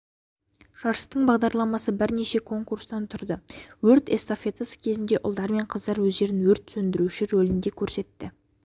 жарыстың бағдарламасы бірнеше конкурстан тұрды өрт эстафетасы кезінде ұлдар мен қыздар өздерін өрт сөндіруші ролінде көрсетті